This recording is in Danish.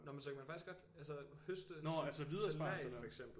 Nå men så man kan faktisk godt altså høste salat for eksempel